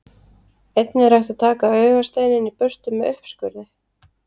Einnig er hægt að taka augasteininn í burtu með uppskurði.